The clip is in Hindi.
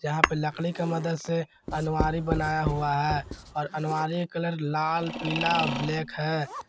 यहां पे लकड़ी का मदद से अलमारी बनाया हुआ है और अलमारी कलर लाल पीला ब्लैक है।